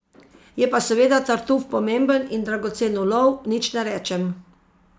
Je pa seveda tartuf pomemben in dragocen ulov, nič ne rečem.